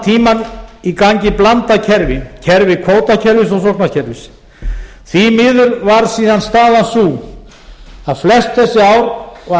tímann í gangi blandað kerfi kerfi kvótakerfis og sóknarkerfis því miður var síðan staðan sú að flest þessi ár var